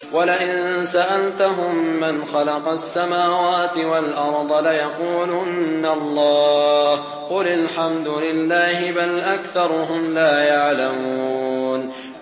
وَلَئِن سَأَلْتَهُم مَّنْ خَلَقَ السَّمَاوَاتِ وَالْأَرْضَ لَيَقُولُنَّ اللَّهُ ۚ قُلِ الْحَمْدُ لِلَّهِ ۚ بَلْ أَكْثَرُهُمْ لَا يَعْلَمُونَ